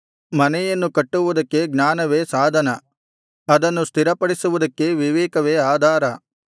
ಮನೆಯನ್ನು ಕಟ್ಟುವುದಕ್ಕೆ ಜ್ಞಾನವೇ ಸಾಧನ ಅದನ್ನು ಸ್ಥಿರಪಡಿಸುವುದಕ್ಕೆ ವಿವೇಕವೇ ಆಧಾರ